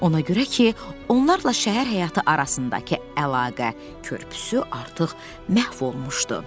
Ona görə ki, onlarla şəhər həyatı arasındakı əlaqə körpüsü artıq məhv olmuşdu.